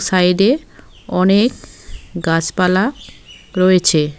Side -এ অনেক গাছপালা রয়েছে।